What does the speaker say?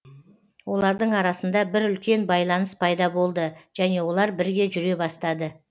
олардың арасында бір үлкен байланыс пайда болды және олар бірге жүре бастады